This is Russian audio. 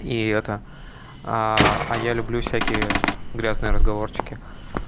и это а я люблю всякие грязные разговорчики